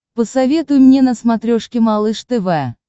посоветуй мне на смотрешке малыш тв